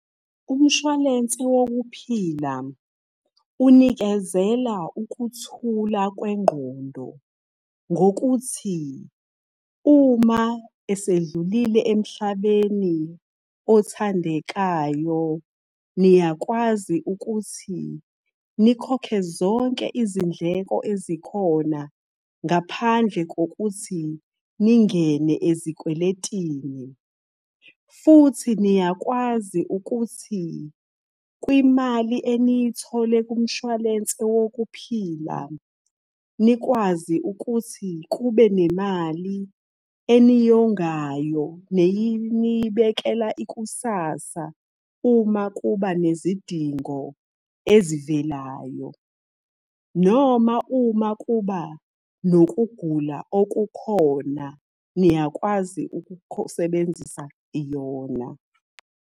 Umshwalense wokuphila, unikezela ukuthula kwengqondo, ngokuthi uma esedlulile emhlabeni othandekayo niyakwazi ukuthi nikhokhe zonke izindleko ezikhona, ngaphandle kokuthi ningene ezikweletini. Futhi niyakwazi ukuthi, kwimali eniyithole kumshwalense wokuphila, nikwazi ukuthi kube nemali eniyongayo, neyinibekela ikusasa uma kuba nezidingo ezivelayo. Noma uma kuba nokugula okukhona niyakwazi ukusebenzisa yona.